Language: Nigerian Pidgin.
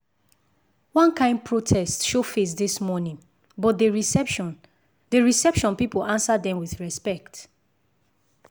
one kain protest show face this morning but the reception the reception people answer dem with respect.